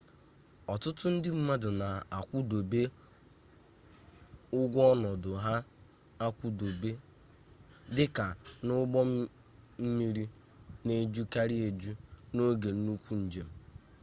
ọtụtụ ndị mmadụ na-akwụdobe ụgwọ ọnọdụ ha akwụdobe dịka na ụgbọmmiri na-ejukarị eju n'oge nnukwu njem